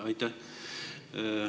Aitäh!